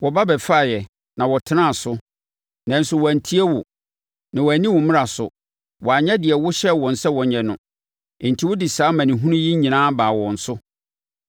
Wɔba bɛfaeɛ, na wɔtenaa so, nanso wɔantie wo, na wɔanni wo mmara so; wɔanyɛ deɛ wohyɛɛ wɔn sɛ wɔnyɛ no. Enti wode saa amanehunu yi nyinaa baa wɔn so.